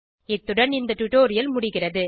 இத்துடன் இந்த டுடோரியல் முடிகிறது